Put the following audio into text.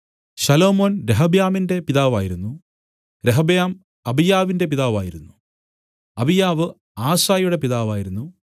ശലോമോൻ രെഹബ്യാമിന്റെ പിതാവായിരുന്നു രെഹബ്യാം അബീയാവിന്റെ പിതാവായിരുന്നു അബീയാവ് ആസായുടെ പിതാവായിരുന്നു